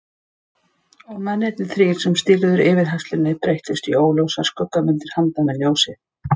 Og mennirnir þrír sem stýrðu yfirheyrslunni breyttust í óljósar skuggamyndir handan við ljósið.